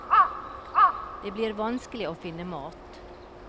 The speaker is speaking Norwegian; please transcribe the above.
Det blir vanskelig å finne mat.